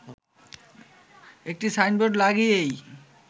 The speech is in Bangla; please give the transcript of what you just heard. একটি সাইনবোর্ড লাগিয়েই